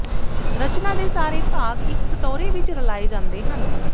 ਰਚਨਾ ਦੇ ਸਾਰੇ ਭਾਗ ਇੱਕ ਕਟੋਰੇ ਵਿੱਚ ਰਲਾਏ ਜਾਂਦੇ ਹਨ